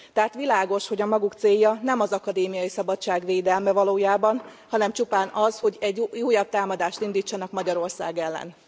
Tehát világos, hogy a maguk célja nem az akadémiai szabadság védelme valójában, hanem csupán az, hogy egy újabb támadást indítsanak Magyarország ellen.